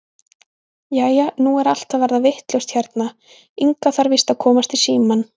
Jæja, nú er allt að verða vitlaust hérna, Inga þarf víst að komast í símann.